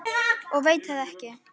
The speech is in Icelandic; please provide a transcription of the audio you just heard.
Og ég veit það ekki.